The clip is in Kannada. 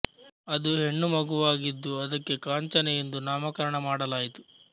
ಅದು ಹೆಣ್ಣು ಮಗುವಾಗಿದ್ದು ಅದಕ್ಕೆ ಕಾಂಚನ ಎಂದು ನಾಮಕರಣ ಮಾಡಲಾಯಿತು